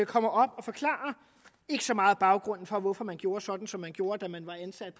kommer op og forklarer ikke så meget baggrunden for hvorfor man gjorde sådan som man gjorde da man var ansat